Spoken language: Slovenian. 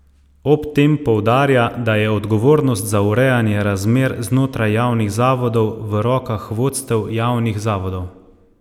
Ob tem poudarja, da je odgovornost za urejanje razmer znotraj javnih zavodov v rokah vodstev javnih zavodov.